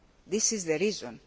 This is the reason.